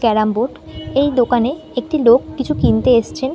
Carrom board. এই দোকানে একটি লোক কিছু কিনতে এসছেন।